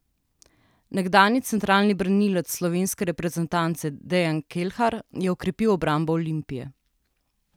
Nekdanji centralni branilec slovenske reprezentance Dejan Kelhar je okrepil obrambo Olimpije.